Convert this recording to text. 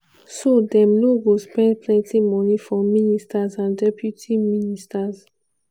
so dem no go spend plenti money for ministers and deputy ministers.